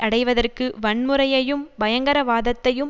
அடைவதற்கு வன்முறையையும் பயங்கரவாதத்தையும்